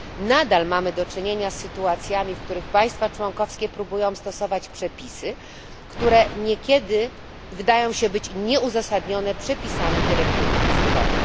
Nadal mamy do czynienia z sytuacjami, w których państwa członkowskie próbują stosować przepisy, które niekiedy wydają się być nieuzasadnione przepisami dyrektywy usługowej.